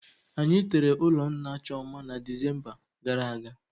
Anyi tere ụlọ nna Chioma na Desemba gara aga